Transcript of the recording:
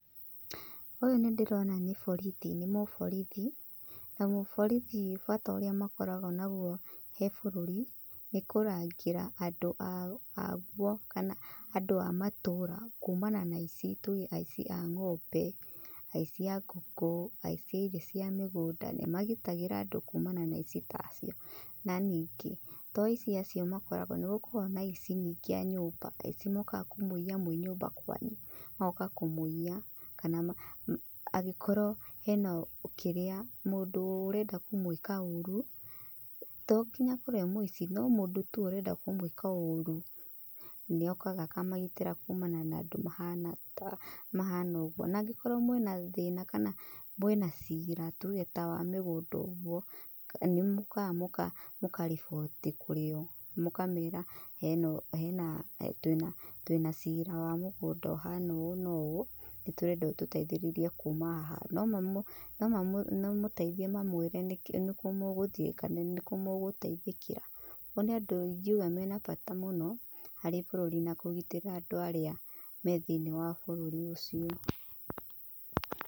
Ũyũ nĩ ndĩrona nĩ borithi, nĩ muborithi. Na muborithi bata ũrĩa makoragwo naguo he bũrũri, nĩ kũrangĩra andũ aguo kana andũ a matũũra kumana na aici. Tuge aici a ngombe, aici a ngũkũ, aici a irio cia mĩgũnda, nĩmagitagĩra andũ kuumana na aici ta acio. Na ningĩ, to aici acio makoragwo. Nĩ gũkoragwo na aici ningĩ a nyũmba. Aici mokaga kũmũiya mwĩ nyũmba kwanyu. Magoka kumũiya. Kana angĩkorwo hena, kĩrĩa, mũndũ ũrenda kũmwĩka ũru. To nginya akorwo e muici no mũndũ tu ũrenda kũmwĩka ũru, nĩ okaga akamagĩtĩra kumana na andũ mahana ũguo. Na angĩkorwo mwĩna thĩna kana mwina ciira, tuge ta wa mĩgũnda ũguo, nĩ mũkaga mũkaribooti kũrĩ o. Mũkamera twĩna ciira wa mũgũnda ũhaana ũũ na ũũ, nĩ tũrenda ũtũteithĩrĩrie kuuma haha. No mamũteithie mawĩre nĩ kũ mũguhtiĩ kana nĩkũ mũgũteithĩkĩra. Ũguo nĩ andũ ingiuga mena bata mũno harĩ bũrũrĩ na kũgitĩra andũ arĩa me thiĩni wa bũrũrĩ ũcio.